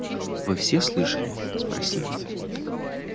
вы все слышали спросил он